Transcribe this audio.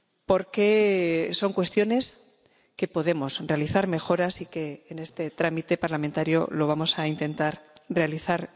Porque son cuestiones en las que podemos realizar mejoras y en este trámite parlamentario lo vamos a intentar realizar